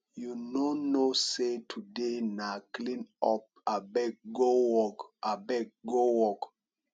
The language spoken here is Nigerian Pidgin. you no know say today na clean up abeg go work abeg go work